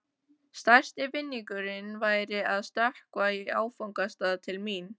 Stærsti vinningurinn væri að stökkva í áfangastað til mín.